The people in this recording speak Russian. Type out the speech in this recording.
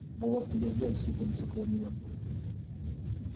булавки дождём сыпались около неё